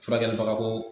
Furakɛlibagako